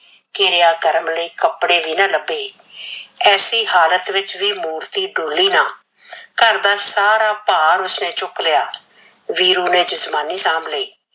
ਕਿਰਿਆ ਕਰਮ ਲਈ ਕੱਪੜੇ ਵੀ ਨਾ ਲੱਭੇ। ਐਸੀ ਹਾਲਤ ਵਿਚ ਵੀ ਮੂਰਤੀ ਡੋਲੀ ਨਾ, ਘਰ ਦਾ ਸਾਰਾ ਭਾਰ ਉਸਨੇ ਚੁੱਕ ਲਿਆ, ਵੀਰੂ ਨੇ ਜਜਮਾਨੀ ਸਾਂਭ ਲਈ।